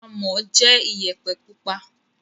Amọ̀ jẹ́ Iyẹ̀pẹ̀ pupa